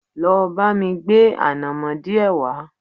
Lọ bá mi gbé ànàmọ́ díẹ̀ wá